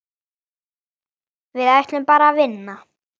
Við ætluðum bara að vinna.